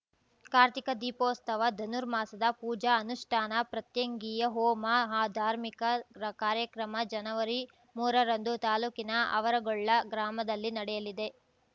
ಕಾರ್ತಿಕ ದೀಪೋತ್ಸವ ಧನುರ್ಮಾಸದ ಪೂಜಾ ಅನುಷ್ಟಾನ ಪ್ರತ್ಯಂಗಿಯ ಹೋಮ ಆ ಧಾರ್ಮಿಕ ರ ಕಾರ್ಯಕ್ರಮ ಜನವರಿಮೂರರಂದು ತಾಲೂಕಿನ ಆವರಗೊಳ್ಳ ಗ್ರಾಮದಲ್ಲಿ ನಡೆಯಲಿದೆ